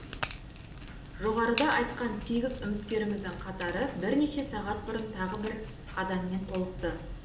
жоғарыда айтқан сегіз үміткеріміздің қатары бірнеше сағат бұрын тағы бір адаммен толықты